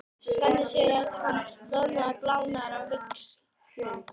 Svenni sér að hann roðnar og blánar á víxl.